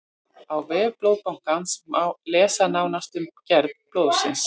á vef blóðbankans má lesa nánar um gerð blóðsins